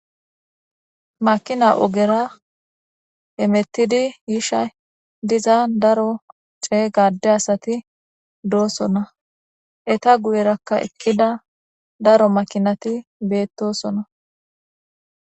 makina ogera hemettidi yishay diza daro ceyga adde asati doosona eta guyerakka eqqida daro makinati beettosona